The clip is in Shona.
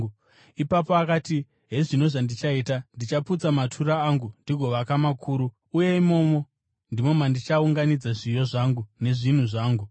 “Ipapo akati, ‘Hezvino zvandichaita. Ndichaputsa matura angu ndigovaka makuru, uye imomo ndimo mandichaunganidza zviyo zvangu nezvinhu zvangu.